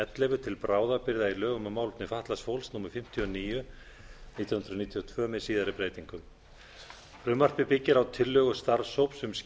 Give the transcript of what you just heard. ellefu til bráðabirgða í lögum um málefni fatlaðs fólks númer fimmtíu og níu nítján hundruð níutíu og tvö með síðari breytingum frumvarpið byggir á tillögu starfshóps